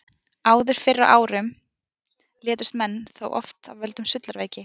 Áður fyrr á árum létust menn þó oft af völdum sullaveiki.